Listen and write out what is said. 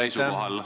Aitäh!